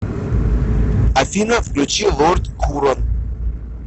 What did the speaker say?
афина включи лорд хурон